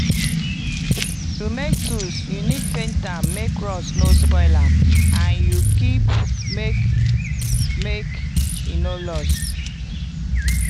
to make tools you need paint am make rust no spoil am and you keep make make e no lost.